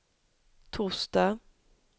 torsdag